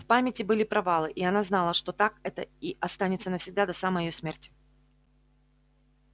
в памяти были провалы и она знала что так это и останется навсегда до самой её смерти